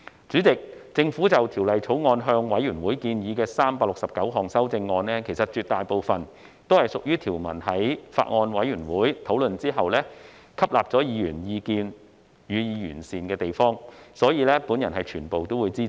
主席，政府就《條例草案》向委員會建議的369項修正案，絕大部分是經法案委員會討論條文後，吸納議員意見予以完善的地方，所以，我全部均會支持。